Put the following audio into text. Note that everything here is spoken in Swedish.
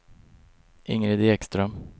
Ingrid Ekström